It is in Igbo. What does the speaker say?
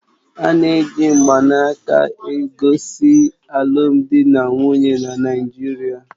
Ana eji mgbanaka esogosi alụmdi na nwunye na Naijiria